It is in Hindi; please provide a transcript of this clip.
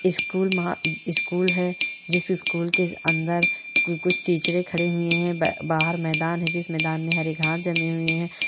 स्कूल महा स्कूल है जिस स्कूल के अंदर कुछ टीचरे खड़े हुए है बा बाहर मैदान है जिस मैदान मे हरे घास जमे हुए हैं।